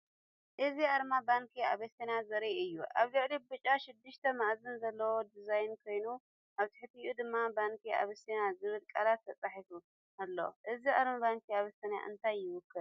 እዚ ኣርማ ባንክ ኣቢሲንያ ዘርኢ እዩ። ኣብ ላዕሊ ብጫ ሽዱሽተ መኣዝን ዘለዎ ዲዛይን ኮይኑ፡ ኣብ ትሕቲኡ ድማ "ባንኪ ኣቢሲንያ" ዝብል ቃላት ተጻሒፉ ኣሎ። እዚ ኣርማ ባንኪ ኣቢሲንያ እንታይ ይውክል?